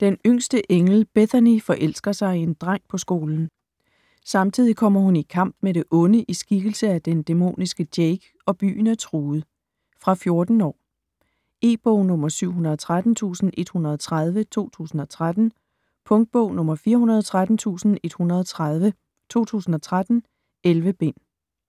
Den yngste engel, Bethany, forelsker sig i en dreng på skolen. Samtidig kommer hun i kamp med det onde i skikkelse af den dæmoniske Jake, og byen er truet. Fra 14 år. E-bog 713130 2013. Punktbog 413130 2013. 11 bind.